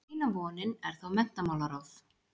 Eina vonin er þá menntamálaráð.